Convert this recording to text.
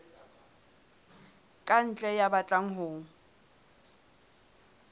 ka ntle ya batlang ho